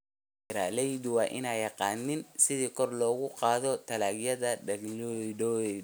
Beeraleydu waa inay yaqaaniin sida kor loogu qaado tayada dalagyadooda.